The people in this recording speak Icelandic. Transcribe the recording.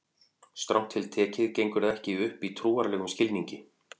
Strangt til tekið gengur það ekki upp í trúarlegum skilningi.